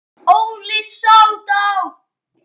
Óli sódó!